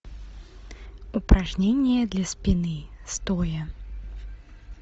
упражнения для спины стоя